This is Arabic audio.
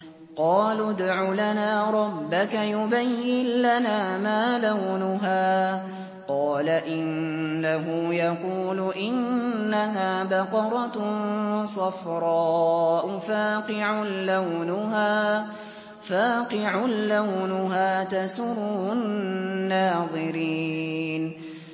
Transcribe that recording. قَالُوا ادْعُ لَنَا رَبَّكَ يُبَيِّن لَّنَا مَا لَوْنُهَا ۚ قَالَ إِنَّهُ يَقُولُ إِنَّهَا بَقَرَةٌ صَفْرَاءُ فَاقِعٌ لَّوْنُهَا تَسُرُّ النَّاظِرِينَ